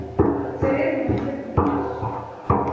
Þeir eru nú ekki fyrirferðarmiklir